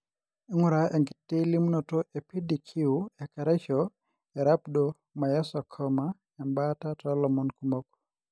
ingura enkiti limunoto e PDQ ekeraisho Rhabdomyosarcoma embaata tolomon kumok.